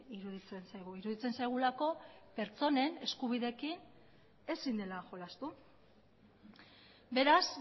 iruditzen zaigu iruditzen zaigulako pertsonen eskubideekin ezin dela jolastu beraz